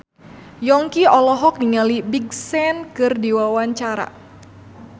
Yongki olohok ningali Big Sean keur diwawancara